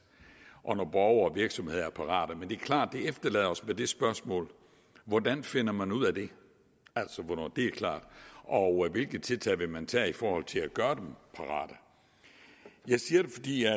og når borgere og virksomheder er parate men det er klart at det efterlader os med det spørgsmål hvordan finder man ud af det altså hvornår det er klar og hvilke tiltag vil man tage i forhold til at gøre dem parate jeg siger det fordi jeg